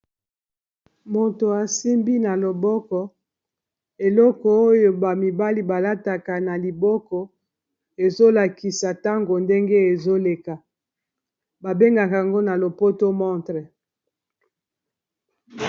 Moto asimbi na loboko eloko oyo bamibali balataka na liboko ezolakisa ntango ndenge ezoleka babengaka yango na lopoto montre.